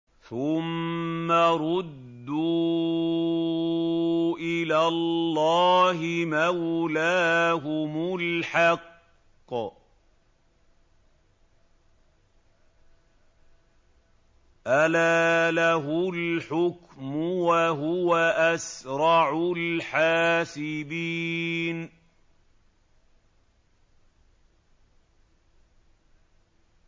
ثُمَّ رُدُّوا إِلَى اللَّهِ مَوْلَاهُمُ الْحَقِّ ۚ أَلَا لَهُ الْحُكْمُ وَهُوَ أَسْرَعُ الْحَاسِبِينَ